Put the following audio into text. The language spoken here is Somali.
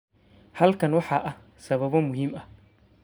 Halkan waxaa ah sababo muhiim ah.